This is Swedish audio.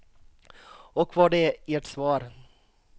Och vad är ert svar?